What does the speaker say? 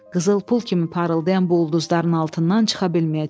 Qızıl pul kimi parıldayan bu ulduzların altından çıxa bilməyəcək.